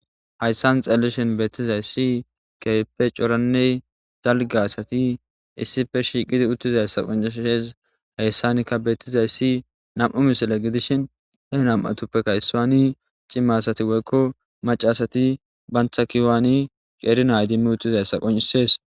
hayssan xelleshen beettizay si keype coranney zalga asati issife shiiqidi uttizayssa qoncisshes hayssanikka beettizayssi nam7u misile gidishin he nam7atuppekka yssaaani cimasati woykko macasati bantha kihowaani cerinay dimmi uttizay sa qoncisees